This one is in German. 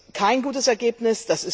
Das ist kein gutes Ergebnis.